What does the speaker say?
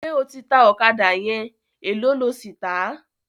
Ṣé o ti ta ọ̀kádà yẹn, èló lo sì tàá?